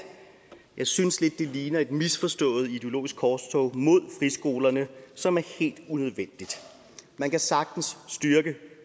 synes jeg lidt det ligner et misforstået ideologisk korstog mod friskolerne som er helt unødvendigt man kan sagtens styrke